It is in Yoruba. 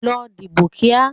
Lọ dìbò kíá!